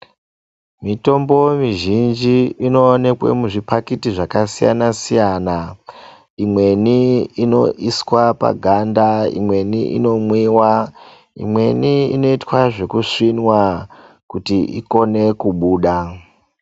Mitombo mizhinji inowonekwe muzvipakiti zvakasiyana siyana imweni inoiswa paganda imweni inomwiwa imweni inoita zvekusvinwa kuti ikone kubuda.